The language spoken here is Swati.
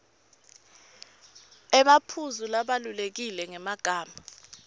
emaphuzu labalulekile ngemagama